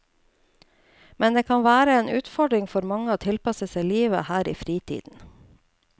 Men det kan være en utfordring for mange å tilpasse seg livet her i fritiden.